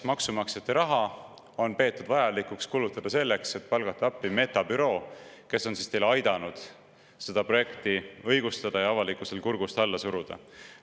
Maksumaksjate raha on peetud vajalikuks kulutada selleks, et palgata appi Meta büroo, kes on aidanud seda projekti õigustada ja avalikkusel kurgust alla suruda.